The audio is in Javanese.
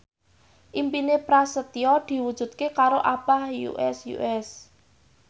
impine Prasetyo diwujudke karo Abah Us Us